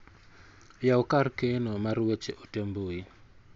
Yaw kar keno mar weche ote mbui